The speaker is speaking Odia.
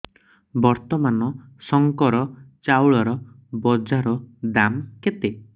ବର୍ତ୍ତମାନ ଶଙ୍କର ଚାଉଳର ବଜାର ଦାମ୍ କେତେ